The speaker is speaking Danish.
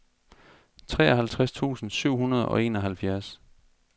treoghalvtreds tusind syv hundrede og enoghalvfjerds